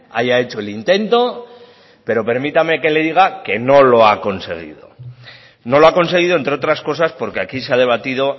haya hecho el intento pero permítame que le diga que no lo ha conseguido no lo ha conseguido entre otras cosas porque aquí se ha debatido